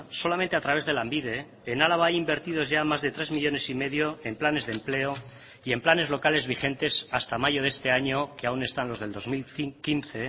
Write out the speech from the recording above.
solamente a través de lanbide en álava hay invertidos ya más de tres millónes y medio en planes de empleo y en planes locales vigentes hasta mayo de este año que aún están los del dos mil quince